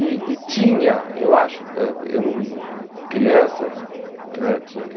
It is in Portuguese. E e tinha, eu acho, eh eu não criança né, tinha o quê?